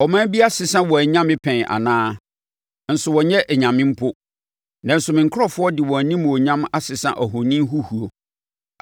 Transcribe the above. Ɔman bi asesa wɔn anyame pɛn anaa? Nso wɔnnyɛ anyame mpo. Nanso me nkurɔfoɔ de wɔn animuonyam asesa ahoni huhuo.